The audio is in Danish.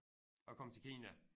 At komme til Kina